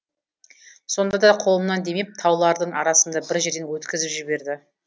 сонда да қолымнан демеп таулардың арасында бір жерден өткізіп жіберді